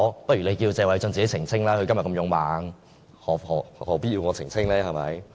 不如你叫謝偉俊議員自己澄清吧，他今天這麼勇猛，何必要我澄清？